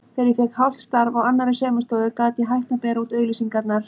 Þegar ég fékk hálft starf á annarri saumastofu gat ég hætt að bera út auglýsingarnar.